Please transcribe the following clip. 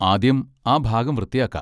ആദ്യം ആ ഭാഗം വൃത്തിയാക്കാ.